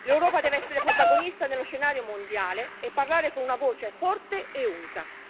L'Europa deve essere protagonista nello scenario mondiale e parlare con una voce forte e unica.